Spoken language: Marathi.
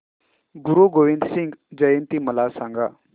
गुरु गोविंद सिंग जयंती मला सांगा